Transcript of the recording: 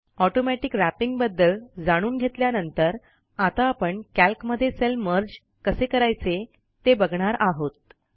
automatic wrapping बद्दल जाणून घेतल्यानंतर आता आपण कॅल्कमध्ये सेल मर्ज कसे करायचे ते बघणार आहोत